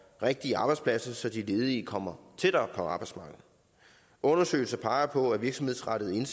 rigtige arbejdspladser så de ledige kommer tættere på arbejdsmarkedet undersøgelser peger på at virksomhedsrettede